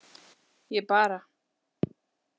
Ég bara.